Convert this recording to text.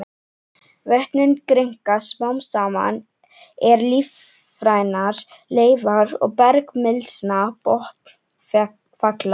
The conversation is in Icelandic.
Vötnin grynnka smám saman er lífrænar leifar og bergmylsna botnfalla.